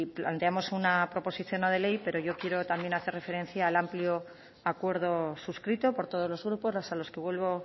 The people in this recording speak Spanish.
planteamos una proposición no de ley pero yo también quiero hacer referencia al amplio acuerdo suscrito por todos los grupos a los que vuelvo